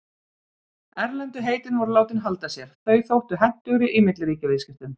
Erlendu heitin voru látin halda sér, þau þóttu hentugri í milliríkjaviðskiptum.